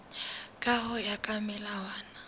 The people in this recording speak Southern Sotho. ka ho ya ka melawana